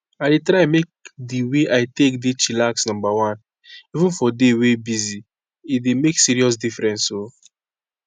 i dey try make di way i take dey chillax numba one even for day wey busy — e dey make serious difference o.